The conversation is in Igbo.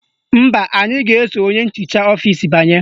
Mba, anyị ga-eso onye nchicha ọfisi banye